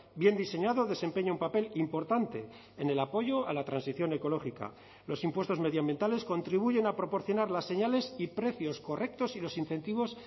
bien diseñado desempeña un papel importante en el apoyo a la transición ecológica los impuestos medioambientales contribuyen a proporcionar las señales y precios correctos y los incentivos